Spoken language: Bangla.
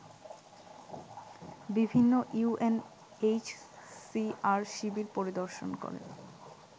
বিভিন্ন ইউএনএইচসিআর শিবির পরিদর্শন করেন